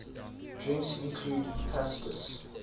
drinks include pastis